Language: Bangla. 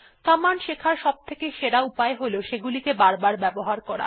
কমান্ড শেখার সবথেকে সেরা উপায় হল সেগুলিকে বারবার ব্যবহার করা